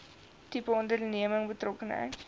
tipe onderneming betrokkenheid